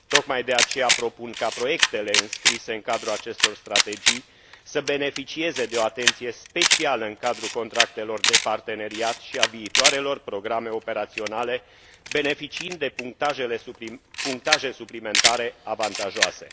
Tocmai de aceea propun ca proiectele înscrise în cadrul acestor strategii să beneficieze de o atenție specială în cadrul contractelor de parteneriat și a viitoarelor programe operaționale, beneficiind de punctaje suplimentare avantajoase.